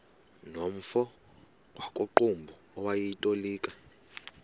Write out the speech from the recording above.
nomfo wakuqumbu owayetolika